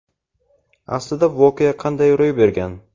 Aslida voqea qanday ro‘y bergan?.